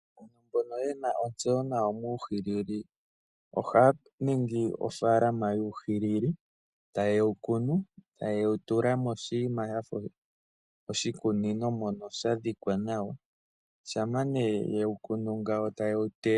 Mboka yena otseyo nawa muuhilili, ohaya ningi ofaalama yuuhilili tayewu kunu, tayewutula moshinima shafa oshikunino mono shadhikwa nawa. Shampa nee yewukunu tayewu teya.